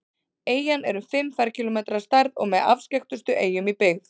Eyjan er um fimm ferkílómetrar að stærð og með afskekktustu eyjum í byggð.